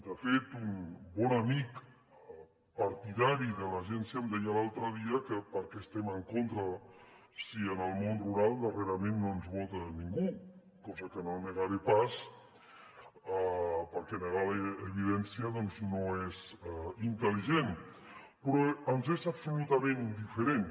de fet un bon amic partidari de l’agència em deia l’altre dia que per què estem en contra si en el món rural darrerament no ens vota ningú cosa que no negaré pas perquè negar evidència doncs no és intel·ligent però ens és absolutament indiferent